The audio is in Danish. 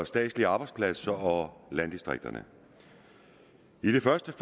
statslige arbejdspladser og landdistrikterne i det første